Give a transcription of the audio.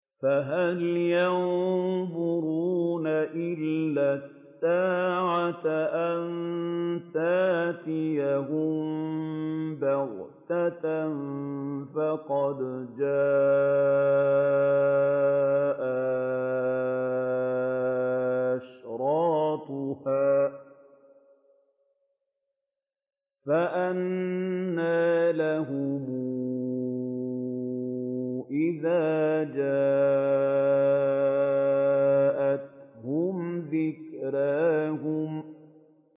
فَهَلْ يَنظُرُونَ إِلَّا السَّاعَةَ أَن تَأْتِيَهُم بَغْتَةً ۖ فَقَدْ جَاءَ أَشْرَاطُهَا ۚ فَأَنَّىٰ لَهُمْ إِذَا جَاءَتْهُمْ ذِكْرَاهُمْ